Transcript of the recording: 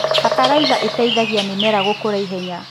Bataraitha ĩteithagia mĩmera gũkũra ihenya.